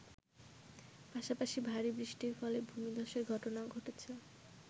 পাশাপাশি ভারী বৃষ্টির ফলে ভূমিধ্বসের ঘটনাও ঘটেছে।